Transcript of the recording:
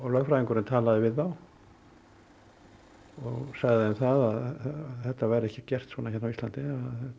lögfræðingurinn talaði við þá og sagði þeim það að þetta væri ekki gert svona hérna á Íslandi það